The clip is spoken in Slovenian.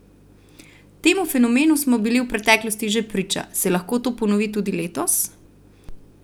Temu fenomenu smo bili v preteklosti že priča, se lahko to ponovi tudi letos?